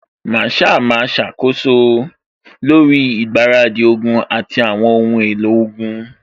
Masaa máa ṣàkóso lórí ìgbáradì ogun àti àwọn ohun èlò ogun